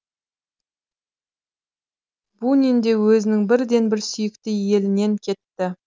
бунин де өзінің бірден бір сүйікті елінен кетті